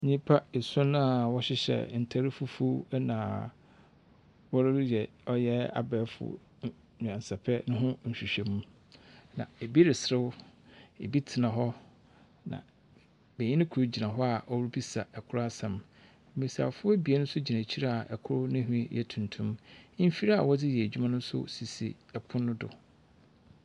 Nnipa ason a wɔhyehyɛ ntar fufuw na wɔreyɛ abɛɛfonyansapɛ ho nhwehwɛmu. Na bi reserew, bi tena hɔ na benyin kor gyina hɔ a ɔrebisa kor asɛm. Mbesiafo anien nso gyia akyir kor ne nhwi yɛ tuntum. Mfir a wɔdze yɛ adwuma no so si pon no do.